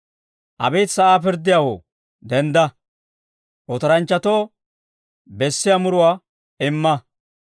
Abeet sa'aa pirddiyaawoo, dendda; otoranchchatoo bessiyaa muruwaa imma.